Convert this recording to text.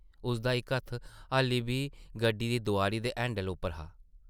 उसदा इक हत्थ हाल्ली बी गड्डी दी दोआरी दे हैंडला उप्पर हा।